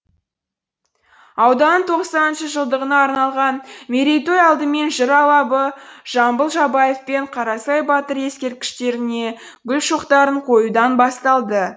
ауданның тоқсаныншы жылдығына арналған мерейтой алдымен жыр алыбы жамбыл жабаев пен қарасай батыр ескерткіштеріне гүл шоқтарын қоюдан басталды